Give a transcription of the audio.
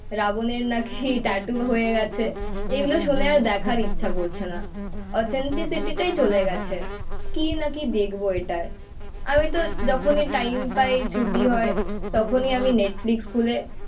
রাবনের নাকি টাটু হয়ে গেছে. এগুলো শুনে আর দেখার ইচ্ছা করছে না, অথেন্টিসিটিটাই চলে গেছে. কি না কি দেখবো এটায়. আমি তো যখনই টাইম পাই ছুটি হয় তখনই আমি নেটফ্লিক্স খুলে